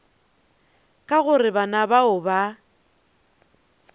ka gore bana bao ba